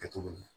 Kɛ cogo min na